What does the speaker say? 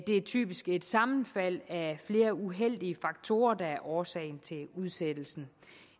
det er typisk et sammenfald af flere uheldige faktorer der er årsagen til udsættelsen